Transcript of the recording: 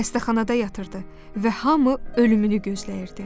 Xəstəxanada yatırdı və hamı ölümünü gözləyirdi.